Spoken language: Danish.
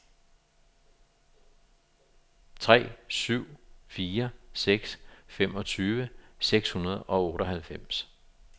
tre syv fire seks femogtyve seks hundrede og otteoghalvfems